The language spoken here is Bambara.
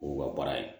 O y'u ka baara ye